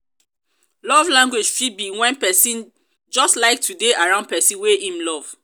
love language fit be when persin just like to de around persin wey im love